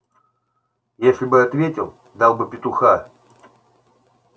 если бы ответил дал бы петуха